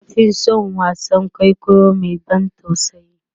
na Fi San wasaan kwaikwayo Mai ban tausayi